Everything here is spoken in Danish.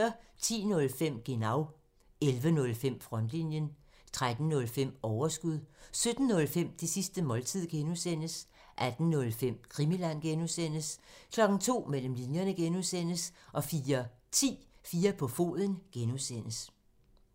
10:05: Genau (tir) 11:05: Frontlinjen (tir) 13:05: Overskud (tir) 17:05: Det sidste måltid (G) (tir) 18:05: Krimiland (G) (tir) 02:00: Mellem linjerne (G) (tir) 04:10: 4 på foden (G) (tir)